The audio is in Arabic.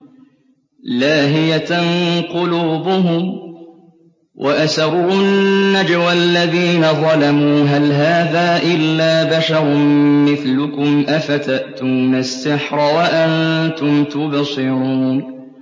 لَاهِيَةً قُلُوبُهُمْ ۗ وَأَسَرُّوا النَّجْوَى الَّذِينَ ظَلَمُوا هَلْ هَٰذَا إِلَّا بَشَرٌ مِّثْلُكُمْ ۖ أَفَتَأْتُونَ السِّحْرَ وَأَنتُمْ تُبْصِرُونَ